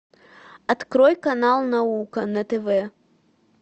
открой канал наука на тв